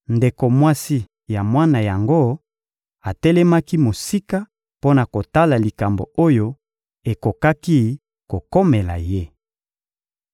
Ndeko mwasi ya mwana yango atelemaki mosika mpo na kotala likambo oyo ekokaki kokomela ye.